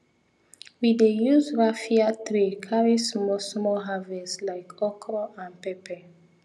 we dey use raffia tray carry small small harvest like okro and pepper